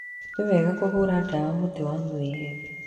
Nĩ wega kũhũra ndawa mũti wa mwĩembe.